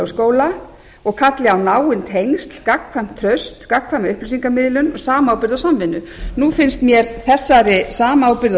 skóla og kalli á náin tengsl gagnkvæmt traust gagnkvæma upplýsingamiðlun og samábyrgð og samvinnu nú finnst mér þessari samábyrgð og